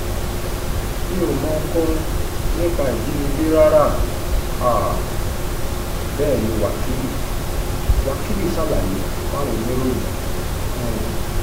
mi ò mọ ohunkóhun nípa ìjínigbé rárá um bẹ́ẹ̀ ní wákilì wákilì ṣàlàyé fáwọn oníròyìn um